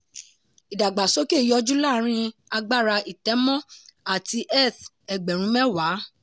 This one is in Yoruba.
ìdàgbàsókè yọjú láàárin agbára ìtẹ̀mọ́ àti eth ẹgbẹ̀rún mẹ́wàá.